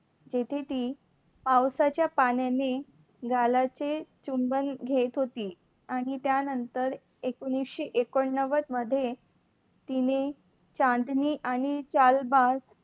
तेथे तिथे ती पावसाच्या पाण्याने गालाचे चुंबन घेत होती. आणि त्यानंतर एकोनिशे एकोन्न्वद मध्ये तिने चांदणी आणि चालबाज